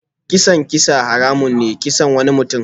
Kisan kisa haramun ne kisan wani mutum.